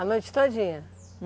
A noite todinha?